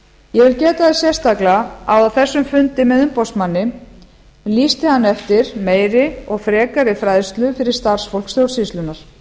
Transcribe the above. vil geta þess sérstaklega að á þessum fundi með umboðsmanni lýsti hann eftir meiri og frekari fræðslu fyrir starfsfólk stjórnsýslunnar